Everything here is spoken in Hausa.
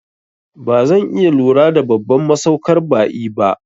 Bazan iya lura da babban masaukar ba'i ba